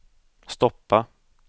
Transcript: stoppa